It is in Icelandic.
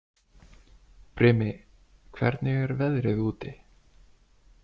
Brimi, hvernig er veðrið úti?